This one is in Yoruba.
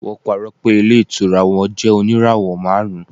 wọn parọ pé ilé ìtura won jẹ oníràwò marun